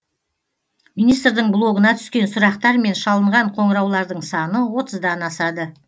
министрдің блогына түскен сұрақтар мен шалынған қоңыраулардың саны отыздан асады